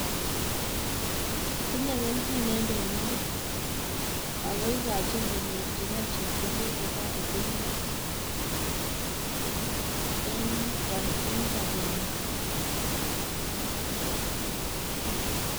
Tinyei kelchin eng temindet ako ikochin konyorchikei chepkondok che torotenkei eng sobenyin.